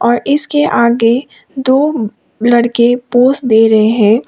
और इसके आगे दो लड़के पोस दे रहे हैं।